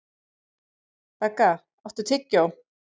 Begga, áttu tyggjó?